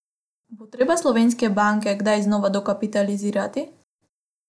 Bo treba slovenske banke kdaj znova dokapitalizirati?